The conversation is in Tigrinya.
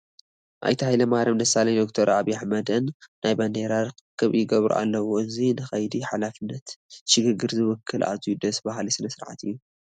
ኣይተ ሃይለማርያም ደሳለኝን ዶክተር ዓብዪ ኣሕመድን ናይ ባንዲራ ርኽክብ ይገብሩ ኣለዉ፡፡ እዚ ንከይዲ ሓላፍነት ሽግግር ዝውክል ኣዝዩ ደስ በሃሊ ስርዓት እዩ፡፡